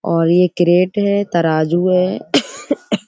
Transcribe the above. और ये क्रेट है तराजू है।